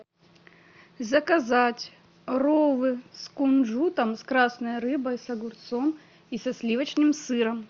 заказать роллы с кунжутом с красной рыбой с огурцом и со сливочным сыром